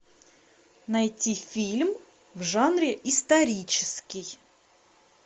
найти фильм в жанре исторический